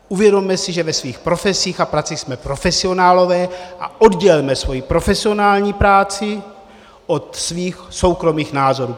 Uvědomme si, že ve svých profesích a pracích jsme profesionálové, a oddělme svoji profesionální práci od svých soukromých názorů.